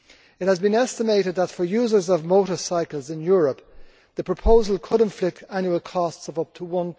It has been estimated that for users of motorcycles in Europe the proposal could inflict annual costs of up to EUR